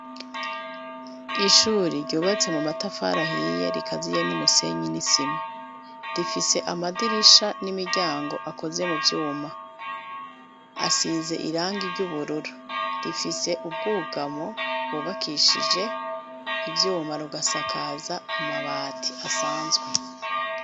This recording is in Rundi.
Ishuri ryubatse mu matafari ahiye rikaziye n'umusenyi n'isima, rifise amadirisha n'imiryango akozwe mu vyuma asize irangi ry'ubururu rifise ubwugamo bubakishije ivyuma rugasakaza amabati asanzwe.